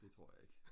det tror jeg ikke